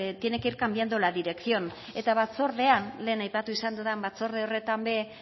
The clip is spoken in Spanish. tiene que ir cambiando la dirección eta batzordean lehen aipatu dudan batzorde horretan ere